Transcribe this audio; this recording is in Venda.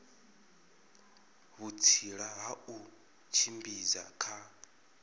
vhutsila ha u tshimbidza kha